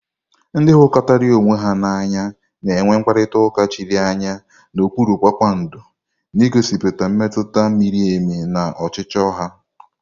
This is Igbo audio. Ndị hụrikotara onwe ha n'anya na-enwe mkparịta ụka chiri anya n'okpuru kpakpando, na-egosipụta mmetụta miri emi na ọchịchọ ha.